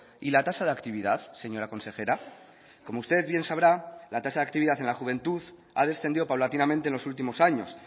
y la tasa de actividad señora consejera como usted bien sabrá la tasa de actividad en la juventud ha descendido paulatinamente en los últimos años